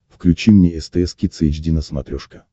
включи мне стс кидс эйч ди на смотрешке